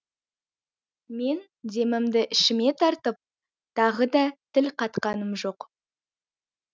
мен демімді ішіме тартып тағы да тіл қатқаным жоқ